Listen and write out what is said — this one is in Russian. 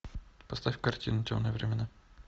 поставь картину темные времена